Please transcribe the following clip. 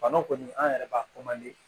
Bana kɔni an yɛrɛ b'a